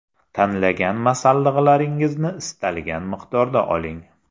Tanlagan masalliqlaringizni istalgan miqdorda oling.